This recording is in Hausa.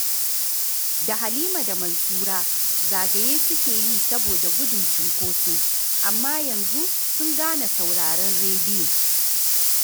Da Halima da Mansura zagaye suke yi saboda gudun cunkoso, amma yanzu sun gane sauraron rediyo